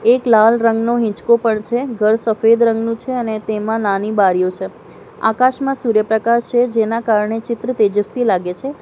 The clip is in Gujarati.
એક લાલ રંગનો હિંચકો પણ છે ઘર સફેદ રંગનું છે અને તેમાં નાની બારીઓ છે આકાશમાં સૂર્યપ્રકાશ છે જેના કારણે ચિત્ર તેજસ્વી લાગે છે.